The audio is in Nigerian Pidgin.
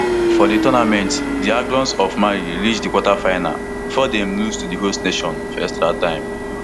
for di tournament di aiglons of mali reach di quarter finals bifor dem lose to di host nation for extra time